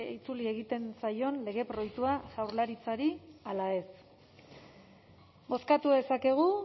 itzuli egiten zaion lege proiektua jaurlaritzari ala ez bozkatu dezakegu